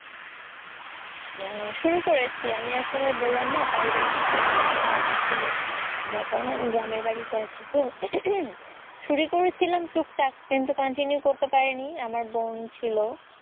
হম শুরু করেছি। আমি আসলে বললাম না পারিবারিক কিছু সমস্যা ছিল। যে কারণে আমি গ্রামের বাড়িতে আছি তো। শুরু করেছিলাম টুকটাক কিন্তু continue করতে পারিনি। আমার বোন ছিল